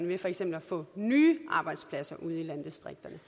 ved for eksempel at få nye arbejdspladser ude i landdistrikterne